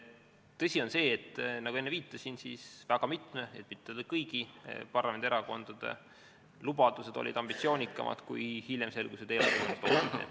Tõsi on see, nagu ma enne viitasin, et väga mitme, kui mitte öelda kõigi parlamendierakondade lubadused olid ambitsioonikamad, kui hiljem selgus, et eelarve võimaldab.